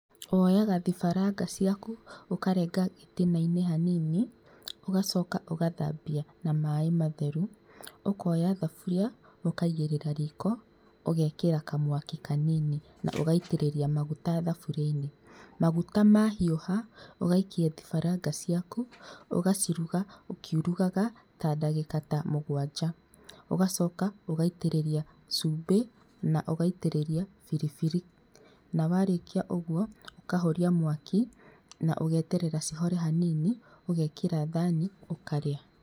Woyaga thibaranga ciaku ũkarenga gĩtina-inĩ hanini, ũgacoka ũgathambia na maĩ matheru, ũkoya thaburia ũkaigĩrĩra riko ũgekĩra kamwaki kanini na ũgaitĩrĩria maguta thaburia-inĩ. Maguta mahiũha, ũgaikia thibaranga ciaku ũgaciruga ũkiurugaga ta ndagĩkaa ta mũgwanja ũgacoka ũgaitĩrĩria cumbĩ na ũgaitĩrĩria biribiri, na warĩkia ũguo ũkahoria mwaki na ũgeterera cihore hanini ũgekĩra thani, ũkaria.